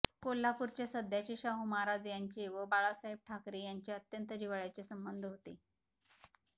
कोल्हापूरचे सध्याचे शाहू महाराज यांचे व बाळासाहेब ठाकरे यांचे अत्यंत जिव्हाळ्याचे संबंध होते